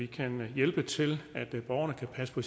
kan vi hjælpe til at borgerne kan passe på